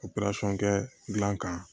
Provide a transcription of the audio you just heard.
O perasɔn kɛ dilan kan